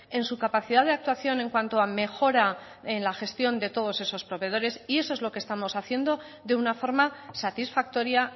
en su capacidad de actuación en cuanto a mejora en la gestión de todos esos proveedores y eso es lo que estamos haciendo de una forma satisfactoria